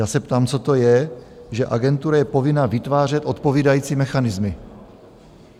Já se ptám, co to je, že agentura je povinna vytvářet odpovídající mechanismy?